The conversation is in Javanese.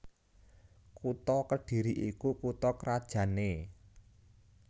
Kutha Kedhiri iku kutha krajanné